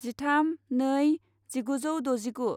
जिथाम नै जिगुजौ द'जिगु